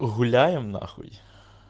гуляем на хуй